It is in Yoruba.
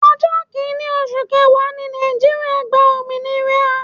Ọjọ́ kini oṣù kẹwàá ni Nàìjíríà gba òmìnira.